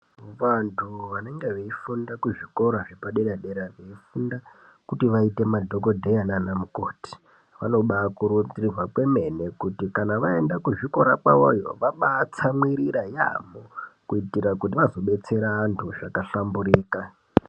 Vantu vanenga vei funda ku zvikora zvepa padera dera vei funda kuti vaite madhokodheya nana mukoti vanobai kurudzirwa kwemene kuti kana vaenda ku zvikora kwayoyo vabai tsamwirira yamho kuitira kuti vazo betsera vantu zvaka hlamburika.